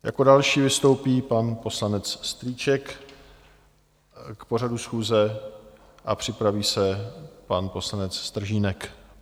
Jako další vystoupí pan poslanec Strýček k pořadu schůze a připraví se pan poslanec Stržínek.